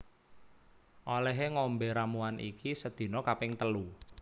Olehe ngombe ramuan iki sedina kaping telu